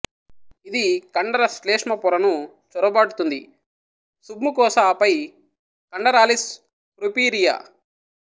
ఇది కండర శ్లేష్మ పొరను చొరబాటుతుంది సుబ్ముకోస ఆపై కండరాలిస్ ప్రొపిరియా